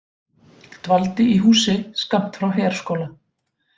Dvaldi í húsi skammt frá herskóla